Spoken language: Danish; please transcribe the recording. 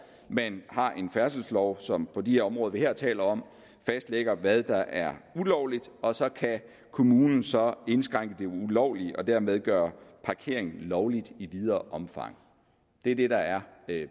man har en færdselslov som på de områder vi her taler om fastlægger hvad der er ulovligt og så kan kommunen så indskrænke det ulovlige og dermed gøre parkering lovligt i videre omfang det er det der er